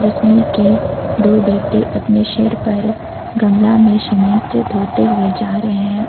इसमें की दो व्यक्ति अपने सिर पर गमला में सीमेंट ढ़ोते हुए जा रहे हैं।